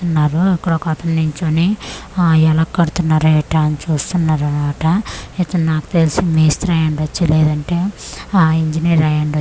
ఉన్నారు అక్కడ ఒకతను నించొని హా ఎలా కడుతున్నారా ఏంటా అని చూస్తున్నారన్నమాట ఇతను నాకు తెలిసి మేస్త్రి అయ్యుండొచ్చు లేదంటే ఆ ఇంజనీర్ అయ్యుండొచ్చు.